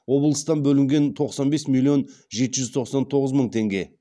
облыстан бөлінген тоқсан бес миллион жеті жүз тоқсан тоғыз мың теңге